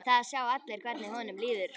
Það sjá allir hvernig honum líður.